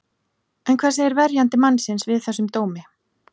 En hvað segir verjandi mannsins við þessum dómi?